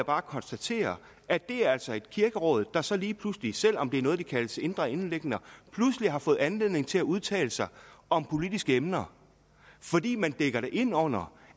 bare konstatere at det altså er kirkeråd der så lige pludselig selv om det er noget der kaldes indre anliggender har fundet anledning til at udtale sig om politiske emner fordi man dækker det ind under